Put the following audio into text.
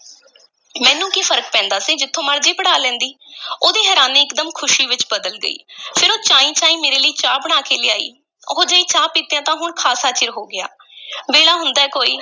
ਮੈਨੂੰ ਕੀ ਫ਼ਰਕ ਪੈਂਦਾ ਸੀ, ਜਿਥੋਂ ਮਰਜ਼ੀ ਪੜ੍ਹਾ ਲੈਂਦੀ ਉਹਦੀ ਹੈਰਾਨੀ ਇਕਦਮ ਖ਼ੁਸ਼ੀ ਵਿੱਚ ਬਦਲ ਗਈ ਫੇਰ ਉਹ ਚਾਈਂ-ਚਾਈਂ ਮੇਰੇ ਲਈ ਚਾਹ ਬਣਾ ਕੇ ਲਿਆਈ, ਉਹੋ-ਜਿਹੀ ਚਾਹ ਪੀਤਿਆਂ ਤਾਂ ਹੁਣ ਖ਼ਾਸਾ ਚਿਰ ਹੋ ਗਿਆ ਵੇਲਾ ਹੁੰਦਾ ਹੈ ਕੋਈ,